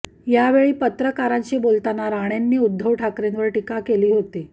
यावेळी पत्रकारांशी बोलताना राणेंंनी उद्धव ठाकरेंवर टीका केली होती